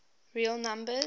real numbers